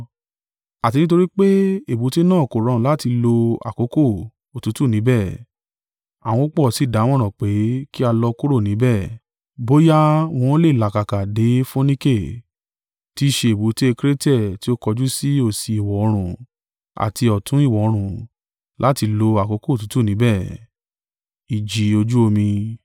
Àti nítorí pé èbúté náà kò rọrùn láti lo àkókò òtútù níbẹ̀, àwọn púpọ̀ sí dámọ̀ràn pé, kí a lọ kúrò níbẹ̀, bóyá wọn ó lè làkàkà dé Fonike, tí i ṣe èbúté Krete ti ó kọjú sí òsì ìwọ̀-oòrùn, àti ọ̀tún ìwọ̀-oòrùn, láti lo àkókò òtútù níbẹ̀.